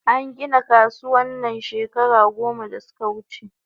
An gina kasuwan nan shekara goma da suka wuche